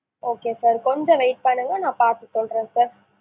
okay sir கொஞ்சம் wait பண்ணுங்க நான் பாத்து சொல்றேன் sir